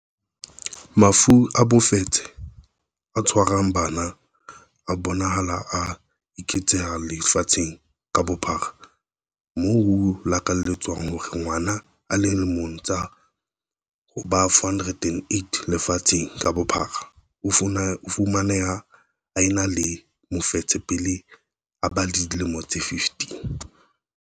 Mafu a mofetshe o tshwarang bana a bonahala a eketseha lefatsheng ka bophara, moo ho lekanyetswang hore ngwana a le mong ho ba 408 lefatsheng ka bophara o fumaneha a ena le mofetshe pele a ba le dilemo tse 15.